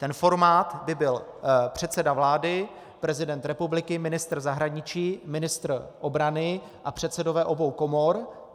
Ten formát by byl předseda vlády, prezident republiky, ministr zahraničí, ministr obrany a předsedové obou komor.